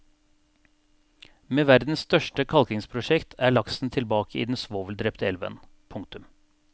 Med verdens største kalkingsprosjekt er laksen tilbake i den svoveldrepte elven. punktum